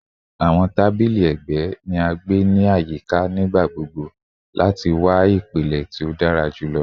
Awọn tabili ẹgbẹ ni a gbe ni ayika nigbagbogbo lati wa ipilẹ ti o dara julọ